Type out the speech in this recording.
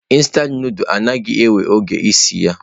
Instantụ nudulu anaghị ewe oge iji sie ya.